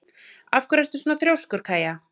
Af hverju ertu svona þrjóskur, Kaja?